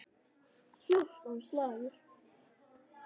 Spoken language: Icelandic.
Fjórtán slagir.